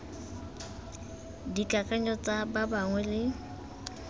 dikakanyong tsa ba bangwe le